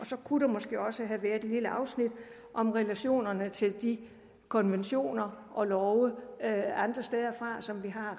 så kunne der måske også have været et lille afsnit om relationerne til de konventioner og love andre steder fra som vi har